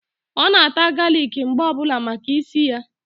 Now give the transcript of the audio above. Ọ na-ata galic mgbe ọbụla maka ísì ya.